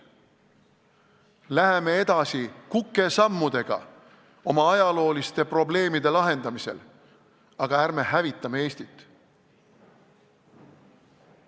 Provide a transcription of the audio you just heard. Läheme edasi kukesammudega oma ajalooliste probleemide lahendamisel, aga ärme hävitame Eestit!